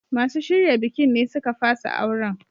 Masu shirya bikin ne suka fasa auren.